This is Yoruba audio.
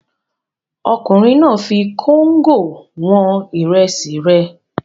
Ọkùnrin náà fi kóńgò wọn ìrẹsì rẹ̀.